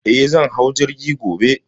Eh, zan hau jirgi gobe.